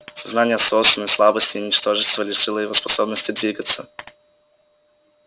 сознание собственной слабости и ничтожества лишило его способности двигаться